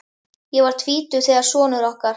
Ég var tvítug þegar sonur okkar